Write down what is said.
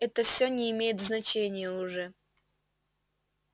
это всё не имеет значения уже